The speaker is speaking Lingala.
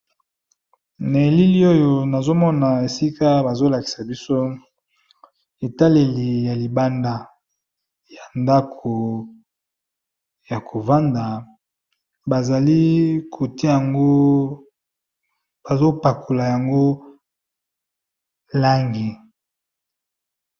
Na elili oyo nazo mona esika bazo lakisa biso etaleli ya libanda ya ndako ya kovanda, bazali kotia ngo bazo pakola yango langi.